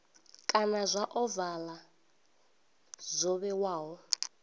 kana zwa ovala zwo vhewaho